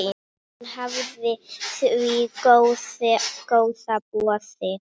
Hann hafnaði því góða boði.